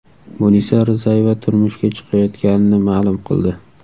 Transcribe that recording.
Munisa Rizayeva turmushga chiqayotganini ma’lum qildi .